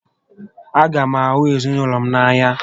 A gá m ahụ ezinaụlọ m n'anya